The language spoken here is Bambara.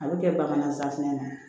A bɛ kɛ bakɛnɛ safinɛ ye